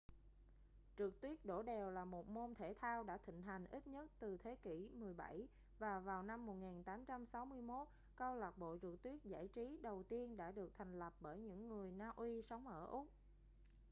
trượt tuyết đổ đèo là một môn thể thao đã thịnh hành ít nhất từ thế kỷ 17 và vào năm 1861 câu lạc bộ trượt tuyết giải trí đầu tiên đã được thành lập bởi những người na uy sống ở úc